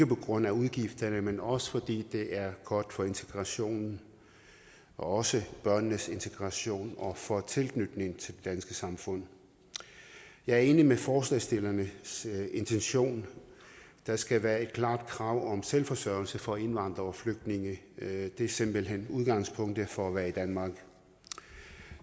på grund af udgifterne men også fordi det er godt for integrationen også børnenes integration og for tilknytningen til det danske samfund jeg er enig i forslagsstillernes intention der skal være et klart krav om selvforsørgelse for indvandrere og flygtninge det er simpelt hen udgangspunktet for at være i danmark